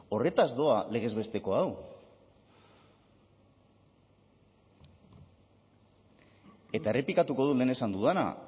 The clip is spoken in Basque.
horretaz doa legez besteko hau eta errepikatuko dut lehen esan dudana